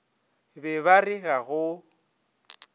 be ba re ga go